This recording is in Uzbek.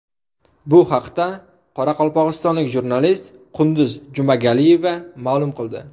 Bu haqda qoraqalpog‘istonlik jurnalist Qunduz Jumagaliyeva ma’lum qildi.